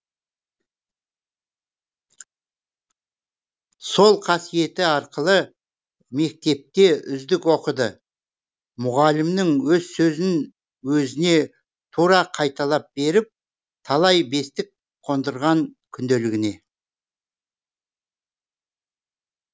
сол қасиеті арқылы мектепте үздік оқыды мұғалімнің өз сөзін өзіне тура қайталап беріп талай бестік қондырған күнделігіне